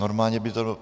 Normálně by to...